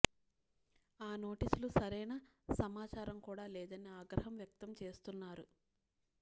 ఆ నోటీసులు సరైన సమాచారం కూడా లేదని ఆగ్రహం వ్యక్తం చేస్తున్నారు